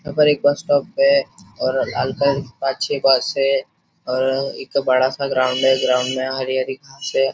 यहाँ पर एक बस स्टोप है और पांज छे बस है और एक बड़ा सा ग्राउंड है ग्राउंड में हरी हरी घासे --